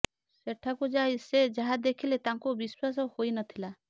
ସେଠାକୁ ଯାଇ ସେ ଯାହା ଦେଖିଲେ ତାଙ୍କୁ ବିଶ୍ବାସ ହୋଇନଥିଲା